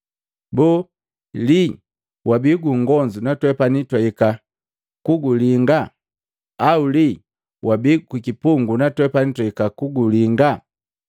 Boo lii wabii gungonzu natwepani twahika kugulinga au lii wabii kukipungu Natwepani twahika kugulinga?’